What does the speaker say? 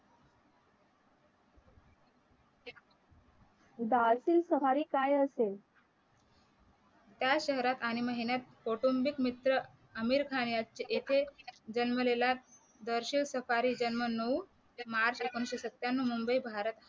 बारती safari काय असेल त्या शहरात आणि महिन्यात कौटुंबिक मित्र आमिर खान यांचे एकाएक जन्मलेला जर्सी सफारी जन्म नऊ मार्च एकोणीशे सत्त्यान्न्व मुंबई भारत